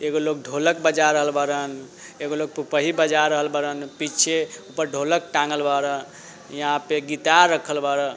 एगो लोग ढोलक बजा रहल बाड़न एगो लोग पुपही बजा रहल बाड़न। पीछे ऊपर ढोलक टांगल बाड़ा। यहा पे गिटार रखल बाड़ा।